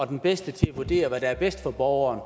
den bedste til at vurdere hvad der er bedst for borgeren